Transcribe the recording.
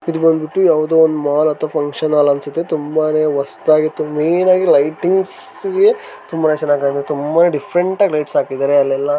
ಇದು ಬಂದಿಬಿಟ್ಟು ಯಾವ್ದೋ ಒಂದು ಮಾಲ್ ಅಥವಾ ಫಂಕ್ಷನ್ ಹಾಲ್ ಅನ್ಸುತೆ ತುಂಬಾನೇ ಹೊಸದಾಗಿತ್ತು ಮೈನಾಗಿ ಲೈಟಿಂಗ್ ಗೆ ತುಂಬಾನೇ ಚಾಣಾಯಾಗಿ ಚನ್ನಾಗಿ ಕಾಣುತೇ ತುಂಬಾನೇ ಡಿಫರೆಂಟ್ ಆಗಿ ಲೈಟ್ ಹಾಕಿದಾರೆ ಅಲ್ಲೆಲ್ಲ.--